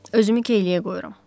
Özümü keyliyə qoyuram.